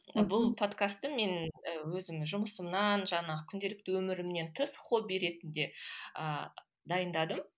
мхм бұл подкасты мен өзім жұмысымнан жаңағы күнделікті өмірімнен тыс хобби ретінде ыыы дайындадым